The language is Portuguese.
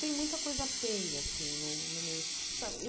Tem muita coisa feia, assim, no meio. Sabe